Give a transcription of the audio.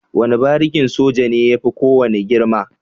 Wane barikin soja ne yafi kowane girma.